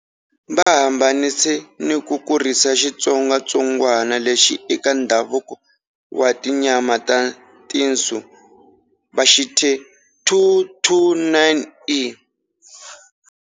Va hambanise ni ku kurisa xitsongwatsongwana lexi eka ndhavuko wa tinyama ta tinsu, va xi thya 229E.